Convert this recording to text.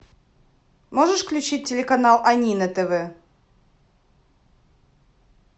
можешь включить телеканал ани на тв